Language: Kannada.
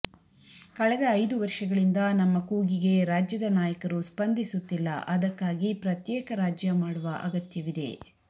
ಕಳೆದ ಐದು ವರ್ಷಗಳಿಂದ ನಮ್ಮ ಕೂಗಿಗೆ ರಾಜ್ಯದ ನಾಯಕರು ಸ್ಪಂದಿಸುತ್ತಿಲ್ಲ ಅದಕ್ಕಾಗಿ ಪ್ರತ್ಯೇಕ ರಾಜ್ಯ ಮಾಡುವ ಅಗತ್ಯವಿದೆ